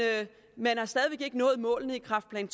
man har stadig ikke nået målene i kræftplan